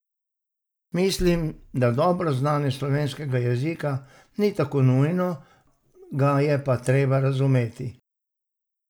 Mislim, da dobro znanje slovenskega jezika ni tako nujno, ga je pa treba razumeti.